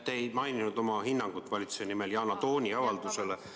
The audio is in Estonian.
Te ei maininud oma hinnangut valitsuse nimel Yana Toomi avaldusele.